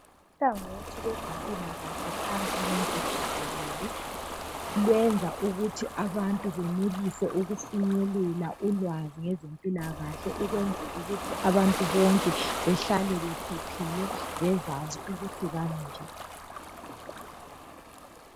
Uhlangothi lwezempilakahle phansi lonke jikelele lwenza ukuthi abantu benelise ukufinyelela ulwazi ngezempilakahle ukwenzelukuthi abantu bonke behlale bephephile bezazi ukuthi bami njani .